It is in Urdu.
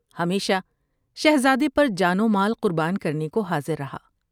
ہمیشہ شہرزادے پر جان و مال قربان کرنے کو حاضر رہا ۔